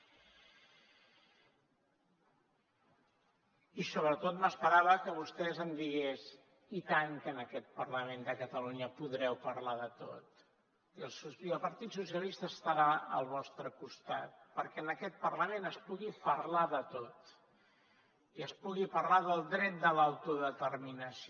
i sobretot m’esperava que vostè em digués i tant que en aquest parlament de catalunya podreu parlar de tot i el partit dels socialistes estarà al vostre costat perquè en aquest parlament es pugui parlar de tot i es pugui parlar del dret de l’autodeterminació